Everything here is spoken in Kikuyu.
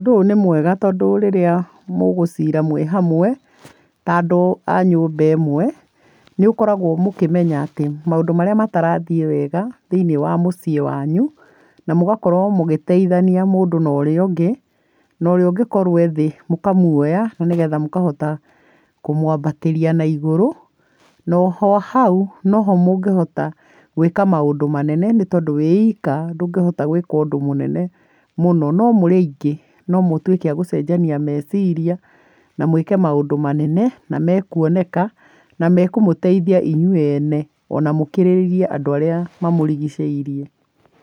Ũndũ ũyũ nĩ mwega tondũ rirĩa mũgũcira mwĩhamwe ta andũ a nyũmba ĩmwe nĩ mũkoragwo mũkĩmenya atĩ maũndũ marĩa matarathiĩ wega thĩinĩ wa mũciĩ wanyu. Na mũgakorwo mũgĩteithania mũndu na ũrĩa ũngĩ na ũrĩa ũngĩkorwo wĩ thĩ mũkamuoyta na nĩ getha mũkahota kũmwambatĩria na igũrũ. No oho hau noho mũngĩhota gwĩka maũndũ manene nĩ tondũ wĩika ndũngĩhota gwĩka ũndũ mũnene. No mũrĩ aingĩ no mũtuĩke agũcenjania meciria na mwĩke maũndũ manene na mekuoneka na mekũmũteithia inyuĩ ene ona mũkĩrĩrie andũ arĩa mamũrigicĩirie.